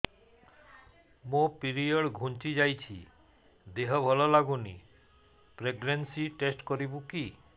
ମୋ ପିରିଅଡ଼ ଘୁଞ୍ଚି ଯାଇଛି ଦେହ ଭଲ ଲାଗୁନି ପ୍ରେଗ୍ନନ୍ସି ଟେଷ୍ଟ କରିବୁ କି